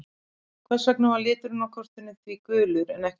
Hvers vegna var liturinn á kortinu því gulur en ekki rauður?